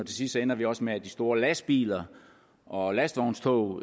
til sidst ender vi også med at de store lastbiler og lastvognstog